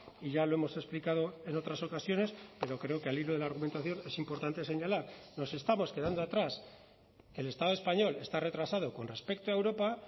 y ya lo hemos explicado en otras ocasiones pero creo que al hilo de la argumentación es importante señalar nos estamos quedando atrás el estado español está retrasado con respecto a europa